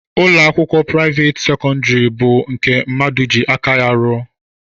Ụlọakwụkwọ priavaate sekondari bụ nke mmadụ ji aka ya rụọ.